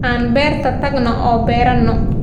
Aan beerta tagno oo beerano.